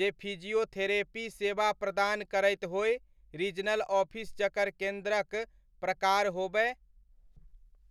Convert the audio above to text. जे फिजियोथेरेपी सेवा प्रदान करैत होय, रीजनल ऑफिस जकर केन्द्रक प्रकार होबय?